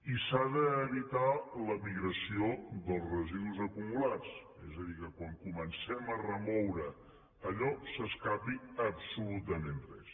i s’ha d’evitar la migració dels residus acumulats és a dir que quan comencem a remoure allò no s’escapi absolutament res